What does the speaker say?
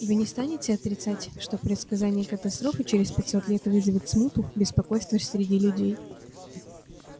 вы не станете отрицать что предсказание катастрофы через пятьсот лет вызовет смуту беспокойство среди людей